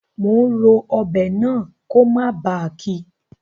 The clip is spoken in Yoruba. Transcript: Mo n ro ọbẹ̀ náà ko mó ba kí